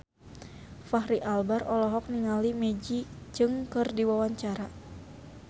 Fachri Albar olohok ningali Maggie Cheung keur diwawancara